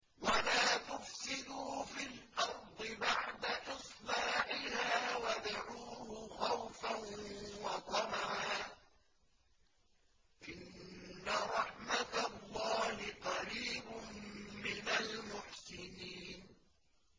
وَلَا تُفْسِدُوا فِي الْأَرْضِ بَعْدَ إِصْلَاحِهَا وَادْعُوهُ خَوْفًا وَطَمَعًا ۚ إِنَّ رَحْمَتَ اللَّهِ قَرِيبٌ مِّنَ الْمُحْسِنِينَ